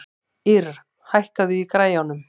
Ýrr, hækkaðu í græjunum.